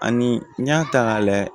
Ani n y'a ta k'a lajɛ